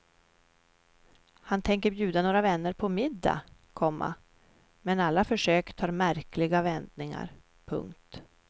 Han tänker bjuda några vänner på middag, komma men alla försök tar märkliga vändningar. punkt